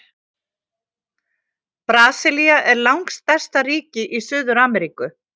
Brasilía er langstærsta ríki í Suður-Ameríku.